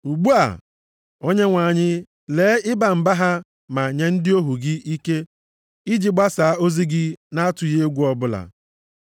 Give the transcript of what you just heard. Ugbu a, Onyenwe anyị, lee ịba mba ha ma nye ndị ohu gị ike iji gbasaa ozi gị na-atụghị egwu ọbụla.